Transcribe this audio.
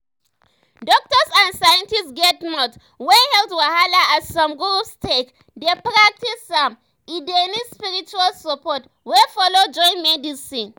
doktors and scientists get mouth when health wahala as some groups take dey practice am e dey need spiritual support wey follow join medicine.